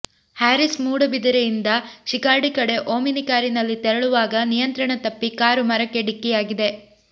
ಹ್ಯಾರೀಸ್ ಮೂಡಬಿದಿರೆಯಿಂದ ಶಿರ್ಕಾಡಿ ಕಡೆ ಓಮಿನಿ ಕಾರಿನಲ್ಲಿ ತೆರಳುವಾಗ ನಿಯಂತ್ರಣ ತಪ್ಪಿ ಕಾರು ಮರಕ್ಕೆ ಡಿಕ್ಕಿಯಾಗಿದೆ